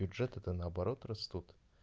бюджеты то наоборот растут